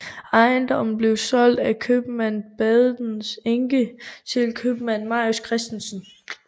Ejendommen blev solgt af købmand Badens enke til købmand Marius Christensen